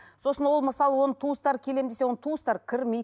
сосын ол мысалы оның туыстары келемін десе оның туыстары кірмейді